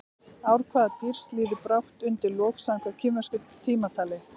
Ár hvaða dýrs líður brátt undir lok samkvæmt kínversku tímatali?